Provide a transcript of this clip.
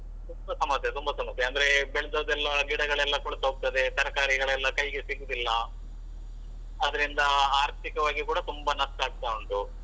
ತುಂಬಾ ಸಮಸ್ಯೆ ತುಂಬಾ ಸಮಸ್ಯೆ. ಅಂದ್ರೆ ಬೆಳ್ದದೆಲ್ಲ ಗಿಡಗಳೆಲ್ಲ ಕೊಳ್ತ್ಹೋಗ್ತದೆ, ತರಕಾರಿಗಳೆಲ್ಲ ಕೈಗೆ ಸಿಗುದಿಲ್ಲ. ಅದ್ರಿಂದ ಆರ್ಥಿಕವಾಗಿ ಕೂಡ ತುಂಬಾ ನಷ್ಟ ಆಗ್ತಾ ಉಂಟು.